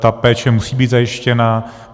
Ta péče musí být zajištěna.